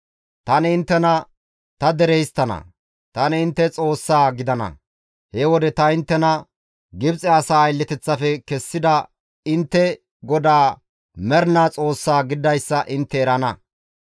Tani inttena ta dere histtana; tani intte Xoossaa gidana. He wode ta inttena Gibxe asaa aylleteththafe kessida intte GODAA Mernaa Xoossaa gididayssa intte erana.